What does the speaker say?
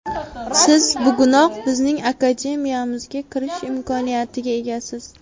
Siz bugunoq bizning Akademiyamizga kirish imkoniyatiga egasiz!